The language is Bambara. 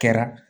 Kɛra